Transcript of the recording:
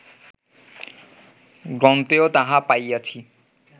গ্রন্থেও তাহা পাইয়াছি